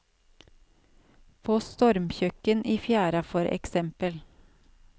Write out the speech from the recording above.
På stormkjøkken i fjæra for eksempel.